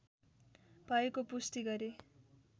भएको पुष्टि गरे